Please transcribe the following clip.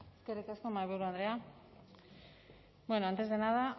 eskerrik asko mahaiburu andrea bueno antes de nada